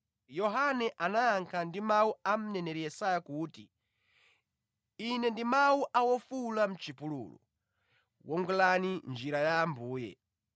Yohane anayankha ndi mawu a mneneri Yesaya kuti, “Ine ndi mawu a wofuwula mʼchipululu, ‘Wongolani njira ya Ambuye.’ ”